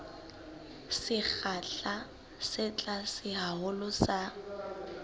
sekgahla se tlase haholo sa